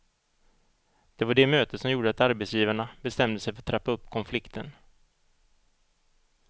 Det var det mötet som gjorde att arbetsgivarna bestämde sig för att trappa upp konflikten.